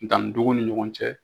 Danni tuguw ni ɲɔgɔn cɛ